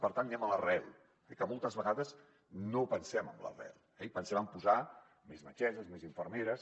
per tant anem a l’arrel que moltes vegades no pensem en l’arrel eh i pensem en posar més metgesses més infermeres